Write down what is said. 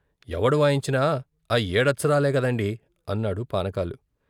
ఎవడు వాయించినా ఆ ఏడచ్చరాలే కదండి, అన్నాడు పాసకాలు.